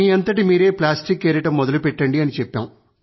మీఅంతట మీరే ప్లాస్టిక్ ఏరడం మొదలుపెట్టండి